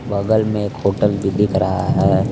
बगल में एक होटल भी दिख रहा है।